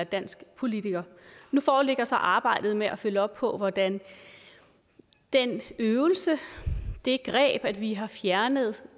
dansk politiker nu foreligger så arbejdet med at følge op på hvordan den øvelse det greb at vi har fjernet